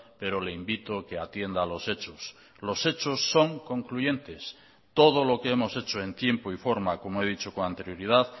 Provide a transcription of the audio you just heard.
pero le invito que atienda a los hechos los hechos son concluyentes todo lo que hemos hecho en tiempo y forma como he dicho con anterioridad